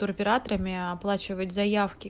туроператорами оплачивать заявки